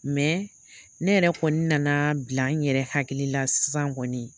ne yɛrɛ kɔni nana bila n yɛrɛ hakili la sisan kɔni